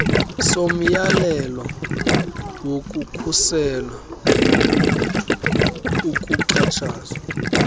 somyalelo wokukhusela ukuxhatshazwa